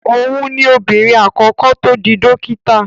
Òhun ni obìnrin àkọ́kọ́ tó di dókítà.